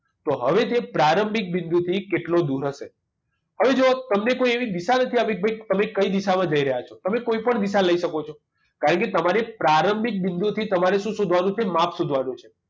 તો હવે તે પ્રારંભિક બિંદુથી કેટલો દૂર હશે હવે જુઓ તમને કોઈ એવી દિશા નથી આપી કે તમે કઈ દિશામાં જઈ રહ્યા છો તમે કોઈપણ દિશા લઈ શકો છો કારણકે તમારી પ્રારંભિક બિંદુ થી તમારે શું શોધવાનું છે માપ શોધવાનું છે